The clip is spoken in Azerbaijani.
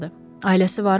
Ailəsi varmı?